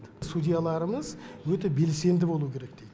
судьяларымыз өте белсенді болуы керек дейді